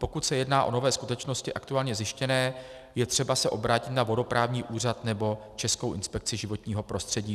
Pokud se jedná o nové skutečnosti aktuálně zjištěné, je třeba se obrátit na vodoprávní úřad nebo Českou inspekci životního prostředí.